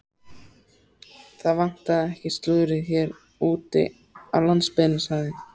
Það vantar ekki slúðrið hér úti á landsbyggðinni sagði